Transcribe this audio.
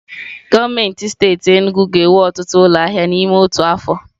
Gọọmenti steeti Enugwu ga-ewu ọtụtụ ụlọ ahịa n'ime otu afọ.